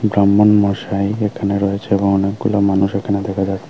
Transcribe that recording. ব্রাহ্মণ মশাই এখানে রয়েছে এবং অনেকগুলো মানুষ এখানে দেখা যা--